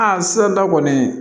Aa sisan kɔni